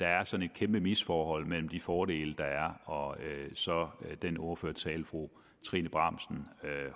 kæmpe misforhold mellem de fordele der er og så den ordførertale fru trine bramsen